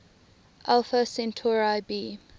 alpha centauri b